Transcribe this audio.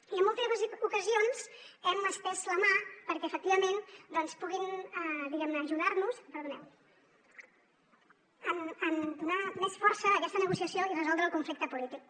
i en múltiples ocasions hem estès la mà perquè efectivament puguin ajudar nos perdoneu en donar més força a aquesta negociació i resoldre el conflicte polític